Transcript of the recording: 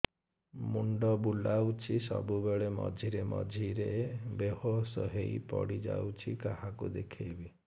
ମୁଣ୍ଡ ବୁଲାଉଛି ସବୁବେଳେ ମଝିରେ ମଝିରେ ବେହୋସ ହେଇ ପଡିଯାଉଛି କାହାକୁ ଦେଖେଇବି